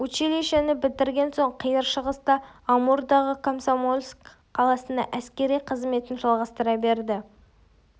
училищені бітірген соң қиыр шығыста амурдағы комсомольск қаласында әскери қызметін жалғастыра береді